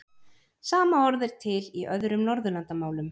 Sama orð er til í öðrum Norðurlandamálum.